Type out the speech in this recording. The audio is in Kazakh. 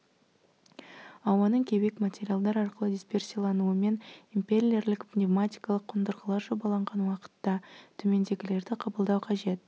ауаның кеуек материалдар арқылы дисперсиялануымен импеллерлік пневматикалық қондырғылар жобаланған уақытта төмендегілерді қабылдау қажет